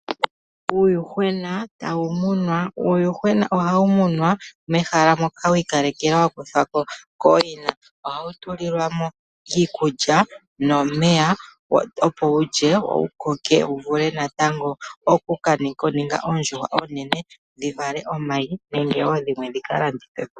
Uuyuhwena tawu munwa. Uuyuhwena ohawu muna mehala moka wa kuthwa ko kooyina. Ohawu tulilwa mo iikulya nomeya opo wulye wo wu koke wu vule natango oku ka ninga oondjuhwa oonene shi vale omayi nenge wo dhimwe dhika landithwe po.